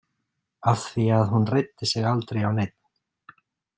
Af því að hún reiddi sig aldrei á neinn.